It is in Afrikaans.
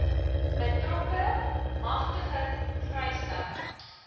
betrokke magtiging vrystelling